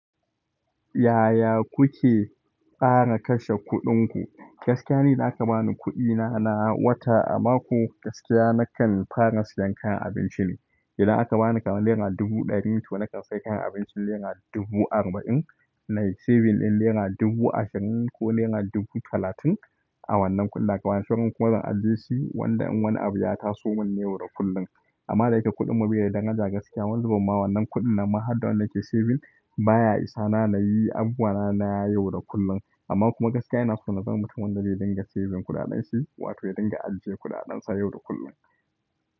Yaya kuke ƙara kashe kuɗin ku? Gaskiya ni, da aka ba ni kuɗi na na wata a mako, gaskiya nakan fara siyan kayan abinci ne. Idan aka bani kamar naira dubu ɗari, to na kan sai kayan abinci naira dubu arba'in, na yi saving ɗin naira dubu ashirin ko naira dubu talatin a wannan kudin da aka bani. Sauran kuma zan ajiye shi wanda in wani abu ya taso mun na yau da kullum. Amma da yake kuɗin mu bai da daraja gaskiya, wani zubin ma wannan kuɗin nan ma hadda wanda na ke saving baya isa na na yi abubuwa na na yau da kullum. Amma kuma gaskiya ina so na zama mutumin da zai dinga saving kuɗaɗen shi, wato ya dinga ajiye kuɗaɗan sa yau da kullum.